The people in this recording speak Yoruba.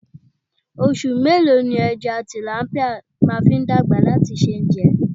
Oṣù mélòó ni ẹja tìlápíà máa fi dàgbà láti ṣe é jẹ?